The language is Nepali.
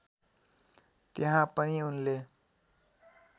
त्यहाँ पनि उनले